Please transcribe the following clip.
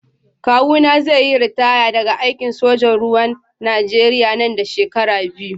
Kawuna zai yi ritaya daga aikin sojan ruwan Najeriya nan da shekaru biyu.